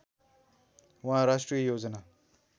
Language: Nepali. उहाँ राष्ट्रिय योजना